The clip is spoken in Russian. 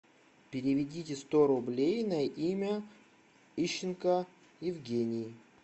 переведите сто рублей на имя ищенко евгений